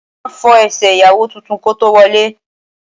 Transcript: Wọ́n máa fọ ẹsẹ̀ ìyàwó tuntun kó tó wọlé